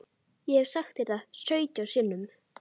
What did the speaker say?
Ég hef sagt þér það sautján sinnum.